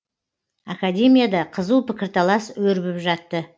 академияда қызу пікірталас өрбіп жатты